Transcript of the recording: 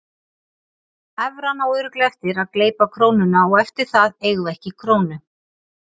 Evran á örugglega eftir að gleypa krónuna og eftir það eigum við ekki krónu.